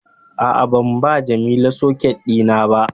A'a, ban ba Jamila socket dina ba